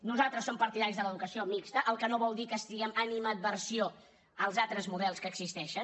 nosaltres som partidaris de l’educació mixta cosa que no vol dir que tinguem animadversió als altres models que existeixen